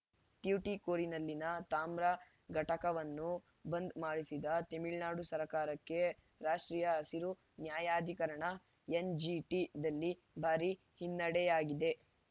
ಟ್ಯುಟಿಕೋರಿನ್‌ನಲ್ಲಿನ ತಾಮ್ರ ಘಟಕವನ್ನು ಬಂದ್‌ ಮಾಡಿಸಿದ್ದ ತಮಿಳುನಾಡು ಸರ್ಕಾರಕ್ಕೆ ರಾಷ್ಟ್ರೀಯ ಹಸಿರು ನ್ಯಾಯಾಧಿಕರಣ ಎನ್‌ಜಿಟಿದಲ್ಲಿ ಭಾರಿ ಹಿನ್ನಡೆಯಾಗಿದೆ